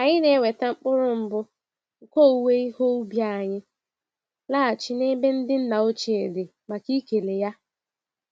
Anyị na-eweta mkpụrụ mbụ nke owuwe ihe ubi anyị laghachi n'ebe ndị nna ochie dị màkà ikele ha